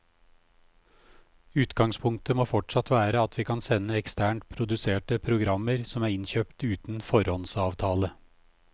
Utgangspunktet må fortsatt være at vi kan sende eksternt produserte programmer som er innkjøpt uten foråndsavtale.